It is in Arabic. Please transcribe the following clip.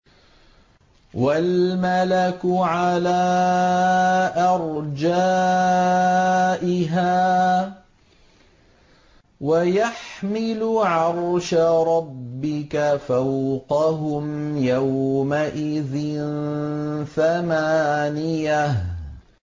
وَالْمَلَكُ عَلَىٰ أَرْجَائِهَا ۚ وَيَحْمِلُ عَرْشَ رَبِّكَ فَوْقَهُمْ يَوْمَئِذٍ ثَمَانِيَةٌ